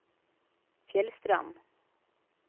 Fjellstrand